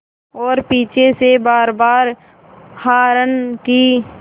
और पीछे से बारबार हार्न की